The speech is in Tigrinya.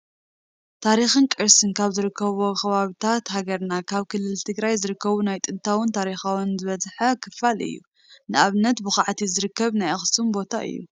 ታሪክን ቅርስን ካብ ዝርከብዎም ከባብታት ሃገርና ኣብ ክልል ትግራይ ዝርከቡ ናይ ጥንታውን ታሪኻውን ዝበዝሐ ክፋል እዩ፡፡ ንኣብነት ብኳዕቲ ዝርከብ ናይ ኣክሱም ቦታ እዩ፡፡